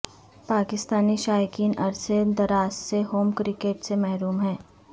پاکستانی شائقین عرصہ دراز سے ہوم کرکٹ سے محروم ہیں